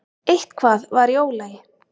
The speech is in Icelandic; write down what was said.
Eitthvað var í ólagi.